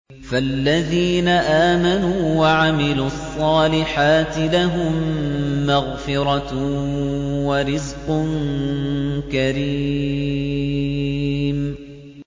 فَالَّذِينَ آمَنُوا وَعَمِلُوا الصَّالِحَاتِ لَهُم مَّغْفِرَةٌ وَرِزْقٌ كَرِيمٌ